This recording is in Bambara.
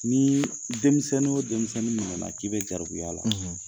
Ni denmisɛnnin o denmisɛnninni minɛna k'i bɛ garibuya la,